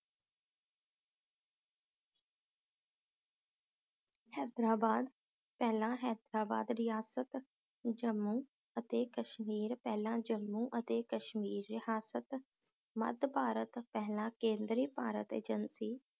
ਹੈਦਰਾਬਾਦ ਪਹਿਲਾਂ ਹੈਦਰਾਬਾਦ ਰਿਆਸਤ, ਜੰਮੂ ਅਤੇ ਕਸ਼ਮੀਰ ਪਹਿਲਾਂ ਜੰਮੂ ਅਤੇ ਕਸ਼ਮੀਰ ਰੇਹਾਸਤ, ਮੱਧ ਭਾਰਤ ਪਹਿਲਾਂ ਕੇਂਦਰੀ ਭਾਰਤ ਏਜੰਸੀ